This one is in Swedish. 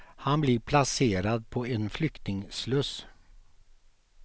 Han blir placerad på en flyktingsluss.